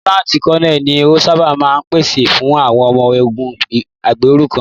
Lieutenant Colonel ni o ṣábà máa ń pàṣẹ fún àwọn ọmọ ogún ẹgbẹ̀rún kan.